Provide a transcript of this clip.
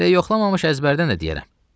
Elə yoxlamamış əzbərdən də deyərəm.